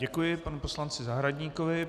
Děkuji panu poslanci Zahradníkovi.